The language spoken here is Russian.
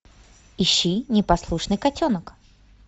ищи непослушный котенок